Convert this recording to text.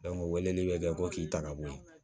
o weleli bɛ kɛ ko k'i ta ka bɔ ye